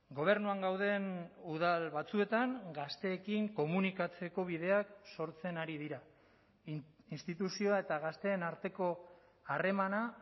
gobernuan gauden udal batzuetan gazteekin komunikatzeko bideak sortzen ari dira instituzioa eta gazteen arteko harremana